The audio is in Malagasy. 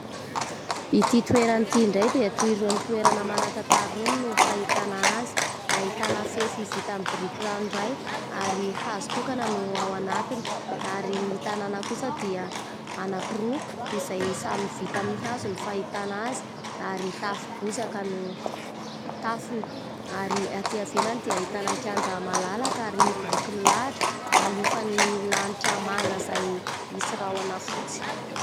Ity toerana ity indray dia toy irony toerana manan-tantara irony no fahitana azy, ahitana fefy vita amin'ny biriky ranoray ary hazo tokana no ao anatiny; ary ny tanàna kosa dia anankiroa izay samy vita amin'ny hazo ny fahitana azy ary tafo-bozaka no tafony. Ary atỳ ivelany dia ahitana kianja malalaka ary biriky milahatra ialofan"ny lanitra manga izay misy rahona fotsy.